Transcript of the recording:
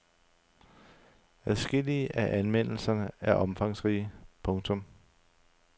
Adskillige af anmeldelserne er omfangsrige. punktum